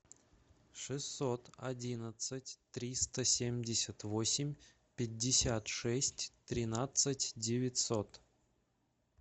шестьсот одинадцать триста семьдесят восемь пятьдесят шесть тринадцать девятьсот